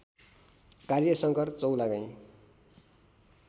कार्य शंकर चौलागाई